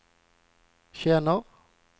känner